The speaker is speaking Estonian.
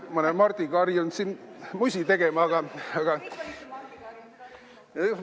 Ma olen Mardiga harjunud siin musi tegema, aga ...